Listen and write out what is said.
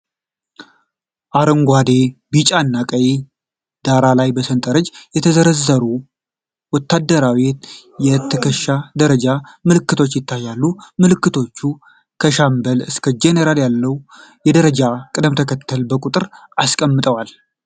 አረንጓዴ፣ ቢጫና ቀይ ዳራ ላይ በሰንጠረዥ የተዘረዘሩ ወታደራዊ የትከሻ ደረጃ ምልክቶች ይታያሉ። ምልክቶቹ ከሻምበል እስከ ጄኔራል ያለውን የደረጃ ቅደም ተከተል በቁጥር አስቀምጠዋል።